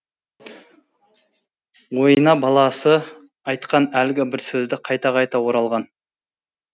ойына баласы айтқан әлгі бір сөздер қайта қайта оралған